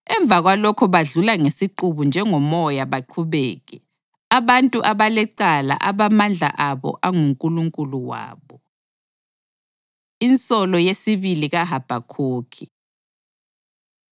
Emva kwalokho badlula ngesiqubu njengomoya baqhubeke, abantu abalecala abamandla abo angunkulunkulu wabo.” Insolo Yesibili KaHabhakhukhi